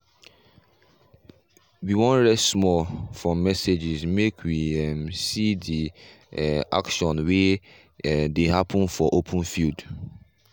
we rest small from messages make we um see the um action we um dey happen for open field.